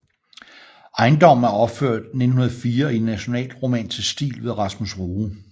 Ejendommen er opført 1904 i nationalromantisk stil ved Rasmus Rue